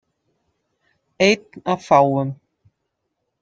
Einn af fáum.